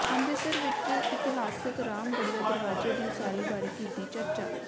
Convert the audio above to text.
ਅੰਮ੍ਰਿਤਸਰ ਵਿੱਚ ਇਤਿਹਾਸਕ ਰਾਮਗੜ੍ਹੀਆ ਦਰਵਾਜ਼ੇ ਦੀ ਉਸਾਰੀ ਬਾਰੇ ਕੀਤੀ ਚਰਚਾ